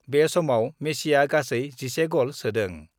बे समाव मेसिआ गासै 11 गल सोदों।